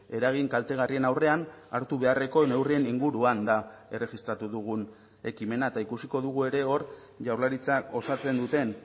eragin kaltegarrien aurrean hartu beharreko neurrien inguruan da erregistratu dugun ekimena eta ikusiko dugu ere hor jaurlaritzak osatzen duten